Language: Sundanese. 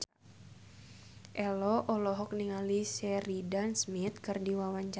Ello olohok ningali Sheridan Smith keur diwawancara